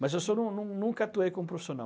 Mas assim, eu nun nun nunca atuei como profissional.